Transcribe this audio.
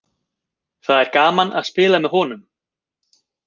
Það er gaman að spila með honum.